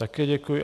Také děkuji.